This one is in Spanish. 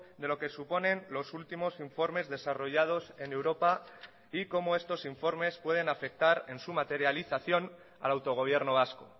de lo que suponen los últimos informes desarrollados en europa y cómo estos informes pueden afectar en su materialización al autogobierno vasco